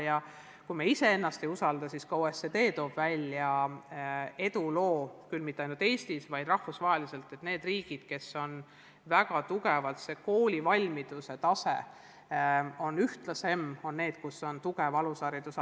Ja kui me iseennast ei usalda, siis ka OECD on välja toonud edulood – küll mitte ainult Eestis, vaid rahvusvaheliselt –, viidates, et koolivalmiduse tase on ühtlasem just nendes riikides, kus on tugev alusharidus.